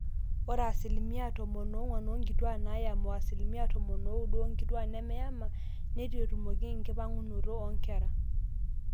ore asilimia tomon oong'wan oonkituaak naayama o asilimia tomon ooudo oonkituaak nemeyama neitu etumoki enkipangunoto oonkera